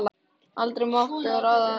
Aldrei mátti hún ráða neinu.